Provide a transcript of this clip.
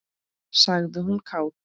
sagði hún kát.